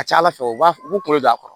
A ka ca ala fɛ u b'a f'u b'u kolo don a kɔrɔ